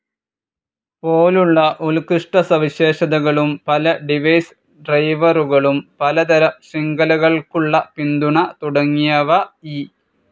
പോലുള്ള ഉൽകൃഷ്ടസവിശേഷതകളും പല ഡിവൈസ് ഡ്രൈവറുകളും, പലതരം ശൃംഖലകൾക്കുള്ള പിന്തുണ തുടങ്ങിയവ ഇ.